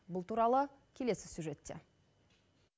бұл туралы келесі сюжетте